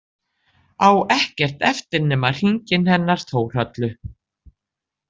Á ekkert eftir nema hringinn hennar Þórhöllu.